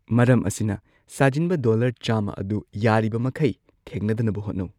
ꯃꯔꯝ ꯑꯁꯤꯅ, ꯁꯥꯖꯤꯟꯕ ꯗꯣꯂꯔ ꯆꯥꯝꯃ ꯑꯗꯨ ꯌꯥꯔꯤꯕꯃꯈꯩ ꯊꯦꯡꯅꯗꯅꯕ ꯍꯣꯠꯅꯧ꯫